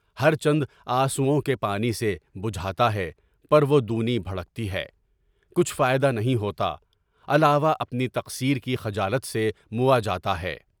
ہر چند آنسوؤں کے پانی سے بچھاتا ہے پر وہ دونی بھڑکتی ہے، کچھ فائدہ نہیں ہوتا، علاوہ اپنی تقصیر کی خجالت سے مواجہ ہے۔